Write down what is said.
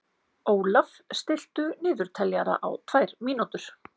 Ólaf, stilltu niðurteljara á tvær mínútur.